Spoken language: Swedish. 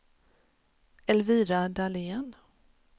Elvira Dahlén